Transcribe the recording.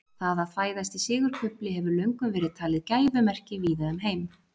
það að fæðast í sigurkufli hefur löngum verið talið gæfumerki víða um heim